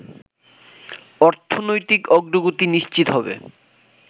অর্থনৈতিক অগ্রগতি নিশ্চিত হবে